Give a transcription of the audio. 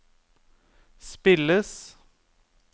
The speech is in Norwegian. spilles